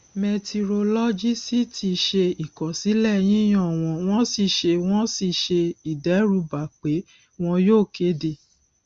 mẹtirolọgìsíítì ṣe ìkọsílẹ yíyan wọn wọn sì ṣe wọn sì ṣe ìdẹrúbà pé wọn yóò kéde